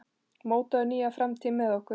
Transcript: Mótaðu nýja framtíð með okkur!